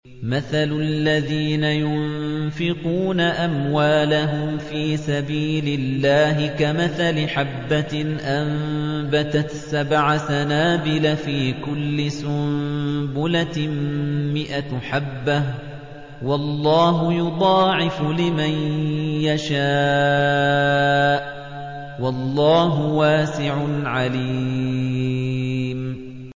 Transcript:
مَّثَلُ الَّذِينَ يُنفِقُونَ أَمْوَالَهُمْ فِي سَبِيلِ اللَّهِ كَمَثَلِ حَبَّةٍ أَنبَتَتْ سَبْعَ سَنَابِلَ فِي كُلِّ سُنبُلَةٍ مِّائَةُ حَبَّةٍ ۗ وَاللَّهُ يُضَاعِفُ لِمَن يَشَاءُ ۗ وَاللَّهُ وَاسِعٌ عَلِيمٌ